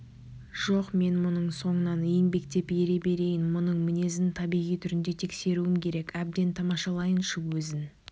жоқ мен мұның соңынан еңбектеп ере берейін мұның мінезін табиғи түрінде тексеруім керек әбден тамашалайыншы өзін